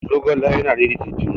zogale yana daidaita jini